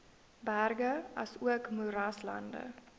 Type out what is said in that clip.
berge asook moeraslande